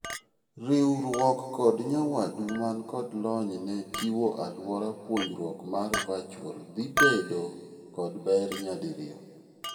Riuruok kod nyawaduu man kod lony ne chiwo aluora puonjruok mar virtual dhii ibedo kod ber nyadirio.